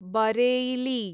Bareilly